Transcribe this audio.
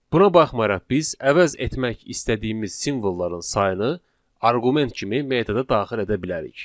Buna baxmayaraq biz əvəz etmək istədiyimiz simvolların sayını arqument kimi metoda daxil edə bilərik.